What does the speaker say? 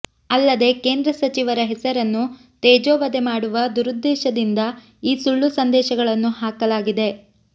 ಅಲ್ಲದೇ ಕೇಂದ್ರ ಸಚಿವರ ಹೆಸರನ್ನು ತೇಜೋವದೆ ಮಾಡುವ ದುರುದ್ದೇಶದಿಂದ ಈ ಸುಳ್ಳು ಸಂದೇಶಗಳನ್ನು ಹಾಕಲಾಗಿದೆ